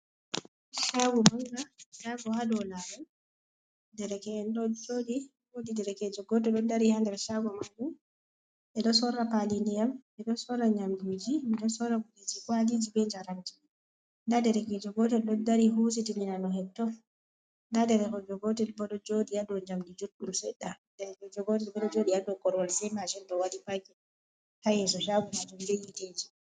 shaago manga, shaago ha dow lawol dereken ɗo joɗi, wodi dekejo goto ɗo dari ha nder shaago majum, ɓe ɗo sorra pali nidiyam, ɓedo sorra nyamduji, ɓe do sorra kujeji kwaliji be njaramji, nda derkejo gotel ɗo dari husitni amin hetto, nda derkejo gotel bo ɗo joɗi ha dow jamdi joɗɗum seɗɗa, derkejo gotel bo ɗo jodi ha dow korowal, sai mashin bo ɗo waɗi pakin, ha yeso shaago majum be yetiji.